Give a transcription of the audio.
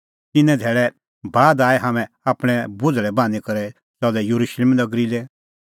तिन्नां धैल़ै बाद हाम्हां आपणैं बोझ़ल़ै बान्हीं करै च़लै येरुशलेम नगरी लै